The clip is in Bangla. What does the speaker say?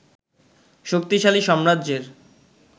শক্তিশালী সাম্রাজ্যের